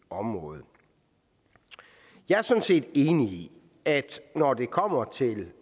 område jeg er sådan set enig i at når det kommer til